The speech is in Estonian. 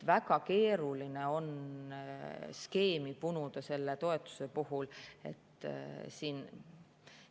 Väga keeruline on selle toetuse puhul skeemi punuda.